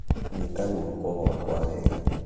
Nyĩta gũoko gwakwa wega